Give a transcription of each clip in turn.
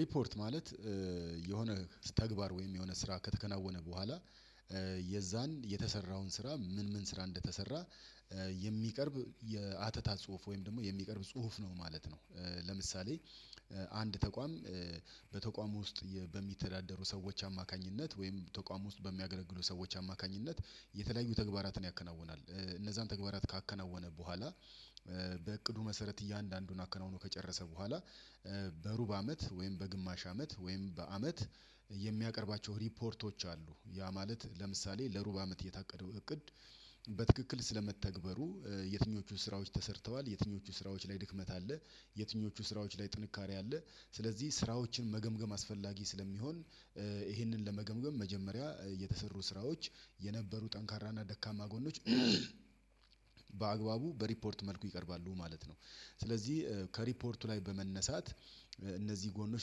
ሪፖርት ማለት የሆነ ተግባር ወይም የሆነ ስራ ከተከናወነ በኋላ የዛን የተሰራውን ስራ ምን ምን ስራ እንደተሰራ የሚቀርብ የአተታ ጽሁፍ ወይም ደግሞ የሚቀርብ ጽሁፍ ነው ማለት ነው። ለምሳሌ አንድ ተቋም በተቋም ውስጥ በሚተዳደሩ ሰዎች አማካኝነት ወይም ተቋሙ ውስጥ በሚያገለግሉ ሰዎች አማካኝነት የተለያዩ ተግባራትን ያከናውናል፤ እነዛን ተግባራት ካከናወነ በኋላ በእቅዱ መሰረት እያንዳንዱን አከናውኖ ከጨረሰ በኋላ በሩብ አመት ወይም በግማሽ አመት ወይም በአመት የሚያቀርባቸው ሪፖርቶች አሉ። ያ ማለት ለምሳሌ ለሩብ አመት የታቀደው እቅድ በትክክል ስለመተግበሩ የትኞቹ ስራዎች ተሰርተዋል፤ የትኞቹ ስራዎች ላይ ድክመት አለ፤ የትኞቹ ስራዎች ላይ ጥንካሬ አለ። ስለዚህ ስራዎችን መገምገም አስፈላጊ ስለሚሆን ይሄንን ለመገምገም መጀመሪያ የተሰሩ ስራዎች የነበሩ ጠንካራና ደካማ ጎኖች በአግባቡ በሪፖርት መልኩ ይቀርባሉ ማለት ነው፤። ስለዚህ ከሪፖርቱ ላይ በመነሳት እነዚህ ጎኖች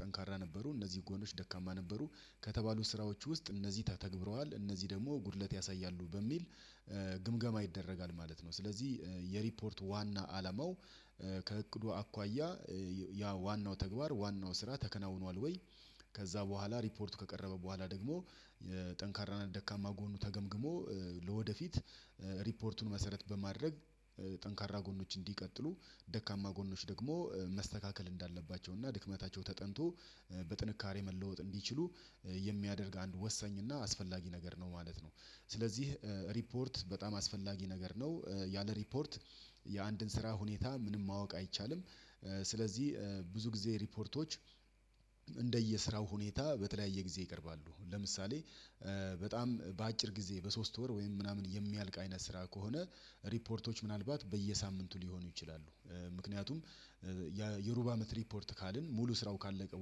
ጠንካራ ነበሩ እነዚህ ጎኖች ደካማ ነበሩ ከተባሉ ስራዎች ውስጥ እነዚህ ተተግብረዋል እነዚህ ደግሞ ጉድለት ያሳያሉ በሚል ግምገማ ይደረጋል ማለት ነው። ስለዚህ የሪፖርት ዋና አላማው ከእቅዱ አኳያ ያ ዋናው ተግባር ዋናው ስራ ተከናውኗል ወይ ከዛ በኋላ ሪፖርቱ ከቀረበ በኋላ ደግሞ ጠንካራና ደካማ ጎኑ ተገምግሞ ለወደፊት ሪፖርቱን መሰረት በማድረግ ጠንካራ ጎኖች እንዲቀጥሉ ደካማ ጎኖች ደግሞ መስተካከል እንዳለባቸው እና ድክመታቸው ተጠንቶ በጥንካሬ መለወጥ እንዲችሉ የሚያደርግ አንድ ወሰኝ እና አስፈላጊ ነገር ነው ማለት ነው። ስለዚህ ሪፖርት በጣም አስፈላጊ ነገር ነው ያለ ሪፖርት የአንድን ስራ ሁኔታ ምንም ማወቅ አይቻልም፤። ስለዚህ ብዙ ጊዜ ሪፖርቶች እንደየስራው ሁኔታ በተለያየ ጊዜ ይቀርባሉ ለምሳሌ በጣም በአጭር ጊዜ በሶስት ወር ወይም ምናምን የሚያልቅ አይነት ስራ ከሆነ ሪፖርቶች ምናልባት በየሳምንቱ ሊሆኑ ይችላሉ። ምክንያቱም የሩባ አመት ሪፖርት ካልን ሙሉ ስራው ካለቀ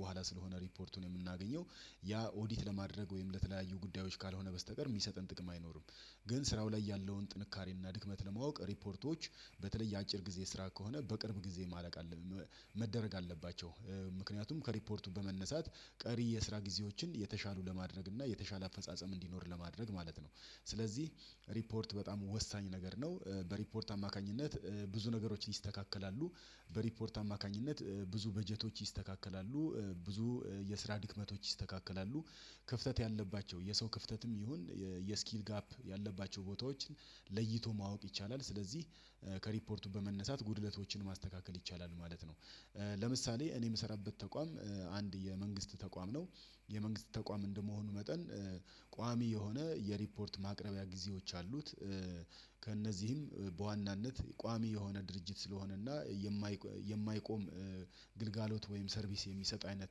በኋላ ስለሆነ ሪፖርቱን የምናገኘው ያ ኦዲት ለማድረግ ወይም ለተለያዩ ጉዳዮች ካልሆነ በስተቀር የሚሰጥን ጥቅም አይኖርም። ግን ስራው ላይ ያለውን ጥንካሬና ድክመት ለማወቅ ሪፖርቶች በተለየ አጭር ጊዜ ስራ ከሆነ በቅርብ ጊዜ ማለቅ አለን መደረግ አለባቸው፤ ምክንያቱም ከሪፖርቱ በመነሳት ቀሪ የስራ ጊዜዎችን የተሻሉ ለማድረግ እና የተሻለ አፈጻጸም እንዲኖር ለማድረግ ማለት ነው። ስለዚህ ሪፖርት በጣም ወሳኝ ነገር ነው በሪፖርት አማካኝነት ብዙ ነገሮች ይስተካከላሉ በሪፖርት አማካኝነት ብዙ በጀቶች ይስተካከላሉ፤ ብዙ የስራ ድክመቶች ይስተካከላሉ፤ ክፍተት ያለባቸው የሰው ክፍተትም ይሁን የስኪል ጋፕ ያለባቸው ቦታዎችን ለይቶ ማወቅ ይቻላል ስለዚህ ከሪፖርቱ በመነሳት ጉድለቶችን ማስተካከል ይቻላል ማለት ነው። ለምሳሌ እኔ የምሰራበት ተቋም አንድ የመንግስት ተቋም ነው፤ የመንግስት ተቋም እንደመሆኑ መጠን ቋሚ የሆነ የሪፖርት ማቅረቢያ ጊዜዎች አሉት ከእነዚህም በዋናነት ቋሚ የሆነ ድርጅት ስለሆነና የማይቆም ግልጋሎት ወይም ሰርቪስ የሚሰጥ አይነት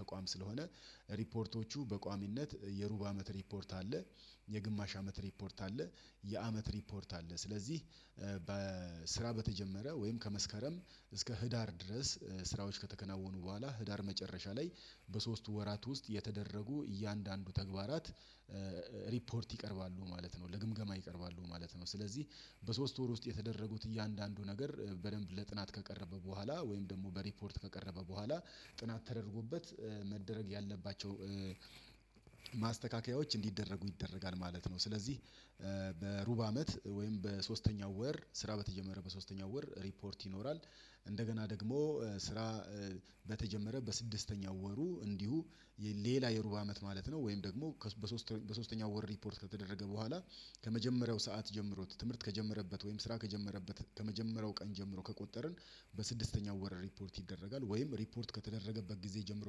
ተቋም ስለሆነ ሪፖርቶቹ በቋሚነት የሩብ አመት ሪፖርት አለ፤። የግማሽ አመት ሪፖርት አለ፤ የአመት ሪፖርት አለ ስለዚህ በስራ በተጀመረ ወይም ከመስከረም እስከ ህዳር ድረስ ስራዎች ከተከናወኑ በኋላ ህዳር መጨረሻ ላይ በሶስቱ ወራት ውስጥ የተደረጉ እያንዳንዱ ተግባራት ሪፖርት ይቀርባሉ ማለት ነው ለግምገማ ይቀርባሉ ማለት ነው። ስለዚህ በሶስት ወር ውስጥ የተደረጉት እያንዳንዱ ነገር በደንብ ለጥናት ከቀረበ በኋላ ወይም ደግሞ በሪፖርት ከቀረበ በኋላ ጥናት ተደርጎበት መደረግ ያለባቸው ማስተካከያዎች እንዲደረጉ ይደረጋል ማለት ነው። ስለዚህ በሩብ አመት ወይም በሶስተኛው ወር ስራ በተጀመረ በሶስተኛው ወር ሪፖርት ይኖራል እንደገና ደግሞ ስራ በተጀመረ በስድስተኛው ወሩ እንዲሁ ሌላ የሩብ አመት ማለት ነው ወይም ደግሞ በሶስተኛው ወር ሪፖርት ከተደረገ በኋላ ከመጀመሪያው ሰዓት ጀምሮ ትምህርት ከጀመረበት ወይም ስራ ከጀመረበት ከመጀመሪያው ቀን ጀምሮ ከቆጠርን በስድስተኛው ወር ሪፖርት ይደረጋል ወይም ሪፖርት ከተደረገበት ጊዜ ጀምሮ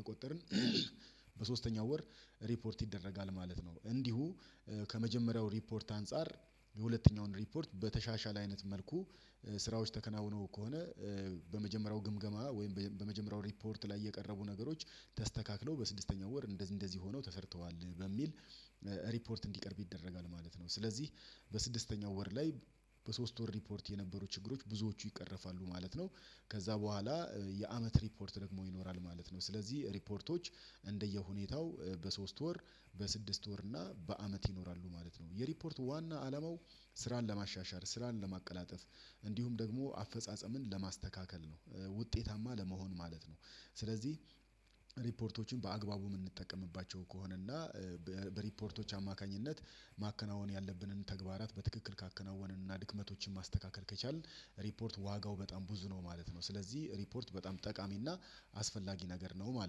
ከቆጠርን በሶስተኛው ወር ሪፖርት ይደረጋል ማለት ነው። እንዲሁ ከመጀመሪያው ሪፖርት አንፃር የሁለተኛውን ሪፖርት በተሻሻለ አይነት መልኩ ስራዎች ተከናውነው ከሆነ በመጀመሪያው ግምገማ ወይም በመጀመሪያው ሪፖርት ላይ የቀረቡ ነገሮች ተስተካክለው በስድስተኛው ወር እንደዚህ ሆነው ተሰርተዋል በሚል ሪፖርት እንዲቀርብ ይደረጋል ማለት ነው። ስለዚህ በስድስተኛው ወር ላይ በሶስት ወር ሪፖርት የነበሩ ችግሮች ብዙዎቹ ይቀርፋሉ ማለት ነው ከዛ በኋላ የአመት ሪፖርት ደግሞ ይኖራል ማለት ነው ስለዚህ ሪፖርቶች እንደየሁኔታው በሶስት ወር በስድስት ወር እና በአመት ይኖራሉ ማለት ነው። የሪፖርት ዋና አለማው ስራን ለማሻሻል ስራን ለማቀላጠፍ እንዲሁም ደግሞ አፈጻጸምን ለማስተካከል ነው ውጤታማ ለመሆን ማለት ነው። ስለዚህ ሪፖርቶችን በአግባቡ የምንጠቀምባቸው ከሆነ እና በሪፖርቶች አማካኝነት ማከናወን ያለብንን ተግባራት በትክክል ካከናወንን እና ድክመቶችን ማስተካከል ከቻልን ሪፖርት ዋጋው በጣም ብዙ ነው ማለት ነው። ስለዚህ ሪፖርት በጣም ጠቃሚና አስፈላጊ ነገር ነው ማለት ነው